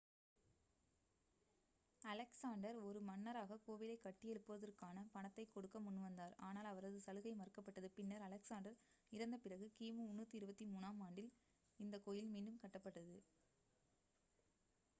Alexander ஒரு மன்னராக கோவிலைக் கட்டியெழுப்புவதற்கான பணத்தைக் கொடுக்க முன்வந்தார் ஆனால் அவரது சலுகை மறுக்கப்பட்டது பின்னர் அலெக்சாண்டர் இறந்த பிறகு கிமு 323-ஆம் ஆண்டில் இந்த கோயில் மீண்டும் கட்டப்பட்டது